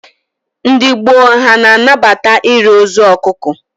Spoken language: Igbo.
Ndị gbo ha a na-anabata iri ozu ọkụkọ?